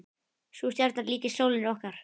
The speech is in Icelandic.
Sú stjarna líkist sólinni okkar.